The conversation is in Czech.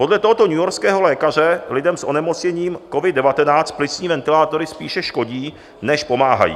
Podle tohoto newyorského lékaře lidem s onemocněním covid-19 plicní ventilátory spíše škodí, než pomáhají.